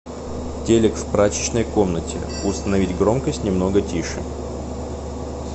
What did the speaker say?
телек в прачечной комнате установить громкость немного тише